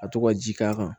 Ka to ka ji k'a kan